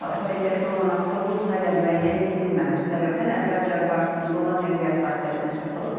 Hərəkətdə olan avtobus hələ müəyyən edilməmiş səbəbdən əvvəlcə qarşısında olan nəqliyyat vasitəsinə çırpılıb.